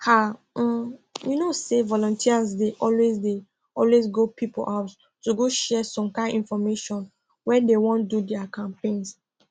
ah um you know say volunteers dey always dey always go people house to go share some kind infomation when dey wan do dia campaigns